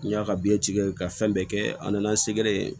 N y'a ka biɲɛ tigɛ ka fɛn bɛɛ kɛ a nana se gɛrɛ